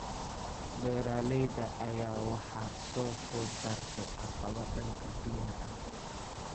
Beeralayda ayaa waxaa soo food saartay caqabado dhanka biyaha ah.